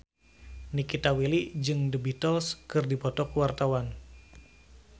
Nikita Willy jeung The Beatles keur dipoto ku wartawan